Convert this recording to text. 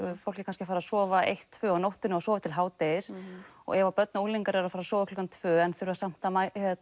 fólk er kannski að fara að sofa eitt til tvö á nóttunni og sofa til hádegis og ef að börn og unglingar eru að fara að sofa klukkan tvö en þurfa samt að